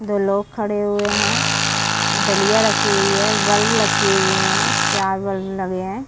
दो लोग खड़े हुए हैं। दलिया रखी हुई है। बल्ब लकी हुए हैं। चार बल्ब लगे हैं।